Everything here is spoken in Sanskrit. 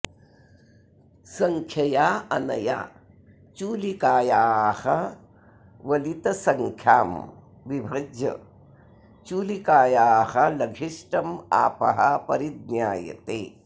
संख्यया अनया चूलिकायाः वलितसंख्यां विभज्य चूलिकायाः लघिष्टमापः परिज्ञायते